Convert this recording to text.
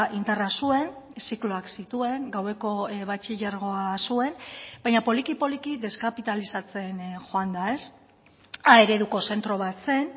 indarra zuen zikloak zituen gaueko batxilergoa zuen baina poliki poliki deskapitalizatzen joan da a ereduko zentro bat zen